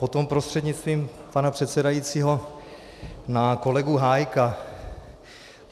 Potom prostřednictvím pana předsedajícího na kolegu Hájka.